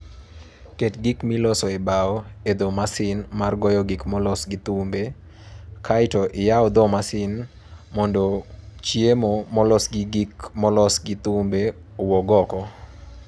Ket gik miloso e bao e dho masin mar goyo gik molos gi thumbe, kae to iyaw dho masin mondo chiemo molos gi gik molos gi thumbe owuog oko.